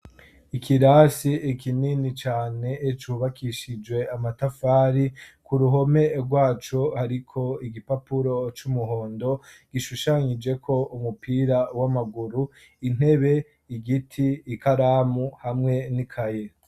Ikirasi kinini cane ecubakishijwe amatafari ku ruhome rwacu hariko igipapuro c'umuhondo gishushanyije ko umupira w'amaguru intebe igiti ikaramu hamwe n'ikayira.